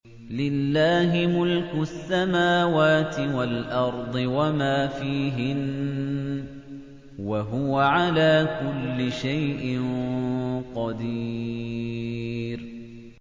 لِلَّهِ مُلْكُ السَّمَاوَاتِ وَالْأَرْضِ وَمَا فِيهِنَّ ۚ وَهُوَ عَلَىٰ كُلِّ شَيْءٍ قَدِيرٌ